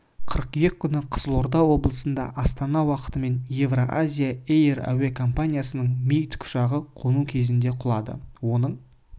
қыркүйек күні қызылорда облысында астана уақытымен евро-азия эйр әуе компаниясының ми тікұшағы қону кезінде құлады оның